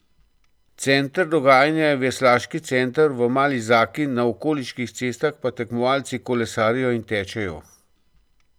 Center dogajanja je Veslaški center v Mali zaki, na okoliških cestah pa tekmovalci kolesarijo in tečejo.